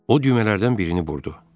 O düymələrdən birini burdu.